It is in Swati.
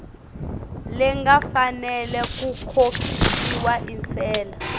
lengafanela kukhokhiswa intsela